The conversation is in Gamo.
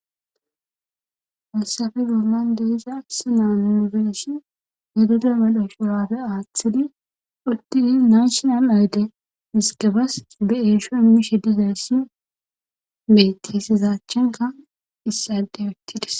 Fassafe gumman de iza sinan yunibersi yadeda mal7o shurapfe aaththidi uttidi naanshinan ayde miskebas be eesho mishe dizayssi beti hesizachenka issadey ottidis.